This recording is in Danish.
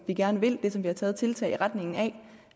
vi gerne vil det som vi har taget tiltag i retning af